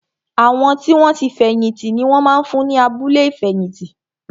Àwọn tí wọn ti fẹ̀yìn tì ni wón máa ń wà ní abúlé ìfẹ̀yìntì